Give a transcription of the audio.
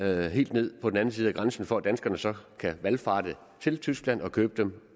helt ned på den anden side af grænsen for at danskerne så kan valfarte til tyskland og købe dem